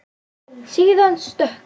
Síðan stökk hann.